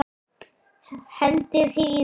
Hendið hýðinu.